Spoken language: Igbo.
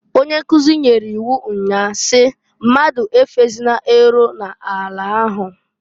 Onye nkuzi nyere iwu nnyaa si, "Mmadụ efozịna eru n'ani ahu!"